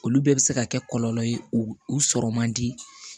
Olu bɛɛ bɛ se ka kɛ kɔlɔlɔ ye u sɔrɔ man di